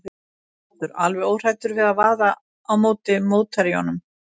Þú ert svo kaldur, alveg óhræddur við að vaða á móti mótherjunum.